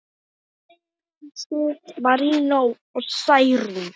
Sigrún Sif, Marinó og Særún.